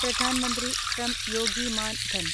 Pradhan Mantri Shram Yogi Maandhan